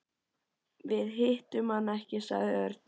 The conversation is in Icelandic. Við hittum hann ekki sagði Örn.